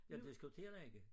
Jeg diskuterer ikke